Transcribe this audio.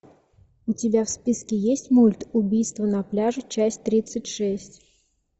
у тебя в списке есть мульт убийство на пляже часть тридцать шесть